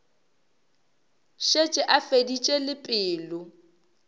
šetše a feditše le pelo